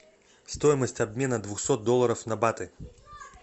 стоимость обмена двухсот долларов на баты